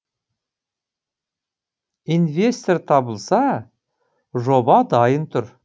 инвестор табылса жоба дайын тұр